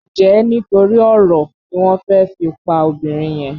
Njé nítorí oro ní wón fè fí pá obìrin yen?